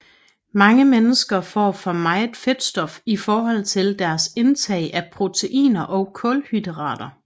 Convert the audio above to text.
Mange mennesker får for meget fedtstof i forhold til deres indtag af proteiner og kulhydrater